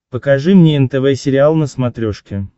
покажи мне нтв сериал на смотрешке